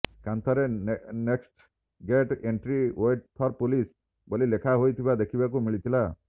କାନ୍ଥରେ next gate entry wait for police ବୋଲି ଲେଖା ହୋଇଥିବା ଦେଖିବାକୁ ମିଳିଥିଲା